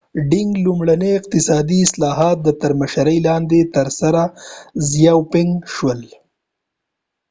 لومړڼي اقتصادي اصلاحات د deng xiaoping تر مشرۍ لاندې ترسره شول